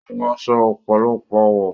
Ó wọ aṣọ ọ̀pọ̀lọpọ̀ àwọ̀.